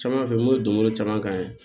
Caman fɛ mun bɛ don kolo caman ka ɲi